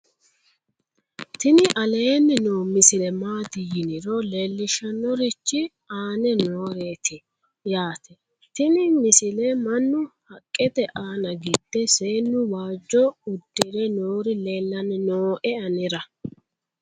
tini aleenni noo misile maati yiniro leellishshannorichi aane nooreeti yaate tini misile mannu haqqete aana gidde seennu waajjo uddire noori leellanni nooe anera